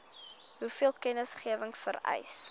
hoeveel kennisgewing vereis